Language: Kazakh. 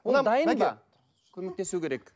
ол дайын ба көмектесу керек